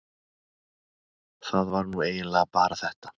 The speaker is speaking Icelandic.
það var nú eiginlega bara þetta.